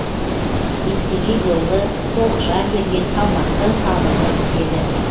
еңсегей бойлы толықша келген салмақты сабырлы кісі еді